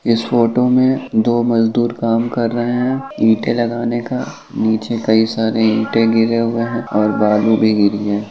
इस फोटो में दो मजदूर काम कर रहे है। ईंटे लगाने का नीचे कई सारे ईंटे गिरे हुए है और बालू भी गिरी है।